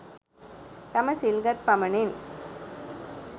තම සිල් ගත් පමණින්